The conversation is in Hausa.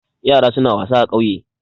Yara suna wasa a ƙauye.